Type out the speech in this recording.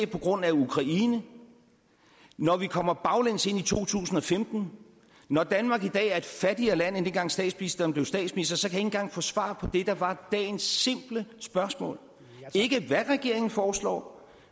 på grund af ukraine når vi kommer baglæns ind i to tusind og femten når danmark i dag er et fattigere land end dengang statsministeren blev statsminister så kan engang få svar på det der var dagens simple spørgsmål ikke hvad regeringen foreslår